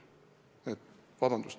Vabandust!